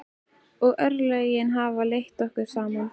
Og örlögin hafa leitt okkur saman.